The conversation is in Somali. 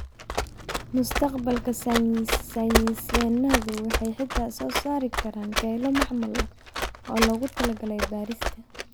Mustaqbalka, saynisyahannadu waxay xitaa soo saari karaan kelyo macmal ah oo loogu talagalay beerista.